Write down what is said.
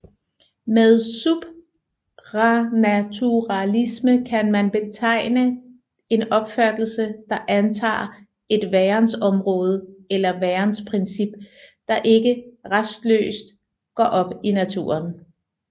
Med supranaturalisme kan man betegne en opfattelse der antager et værensområde eller værensprincip der ikke restløst går op i naturen